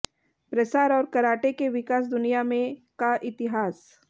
प्रसार और कराटे के विकास दुनिया में का इतिहास